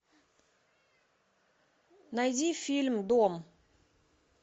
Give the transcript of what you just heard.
найди фильм дом